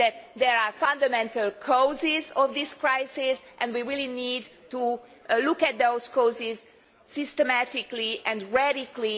There are fundamental causes of this crisis, and we really need to look at those causes systematically and radically.